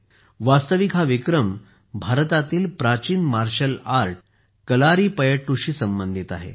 वास्तविक हा विक्रम भारतातील प्राचीन मार्शल आर्ट कलारीपयट्टूशी संबंधित आहे